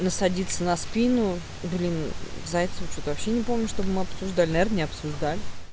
на садится на спину блин зайцева что-то вообще не помню чтобы мы обсуждали наверно не обсуждали